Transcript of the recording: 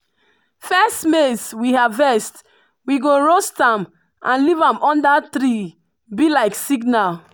first maize we harvest we go roast am and leave am under treee be like signal.